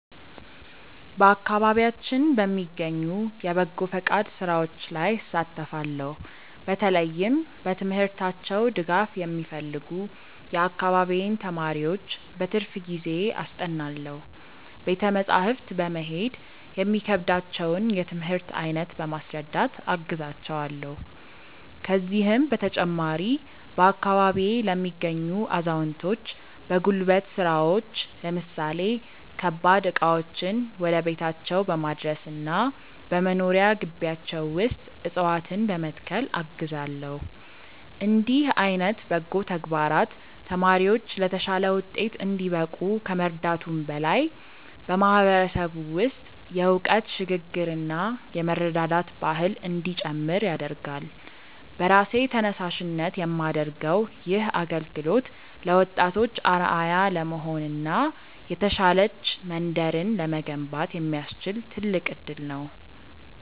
በአካባቢያችን በሚገኙ የበጎ ፈቃድ ሥራዎች ላይ እሳተፋለው። በተለይም በትምህርታቸው ድጋፍ የሚፈልጉ የአካባቢዬን ተማሪዎች በትርፍ ጊዜዬ አስጠናለው። ቤተ መጻሕፍት በመሄድ የሚከብዳቸውን የትምህርት አይነት በማስረዳት አግዛቸዋለው። ከዚህም በተጨማሪ፣ በአካባቢዬ ለሚገኙ አዛውንቶች በጉልበት ሥራዎች ለምሳሌ ከባድ ዕቃዎችን ወደ ቤታቸው በማድረስና በመኖሪያ ግቢያቸው ውስጥ ዕፅዋትነ በመትከል አግዛለው። እንዲህ ዓይነት በጎ ተግባራት ተማሪዎች ለተሻለ ውጤት እንዲበቁ ከመርዳቱም በላይ፣ በማህበረሰቡ ውስጥ የእውቀት ሽግ ግርና የመረዳዳት ባህል እንዲጨምር ያደርጋል። በራሴ ተነሳሽነት የማደርገው ይህ አገልግሎት ለወጣቶች አርአያ ለመሆንና የተሻለች መንደርን ለመገንባት የሚያስችል ትልቅ እድል ነው።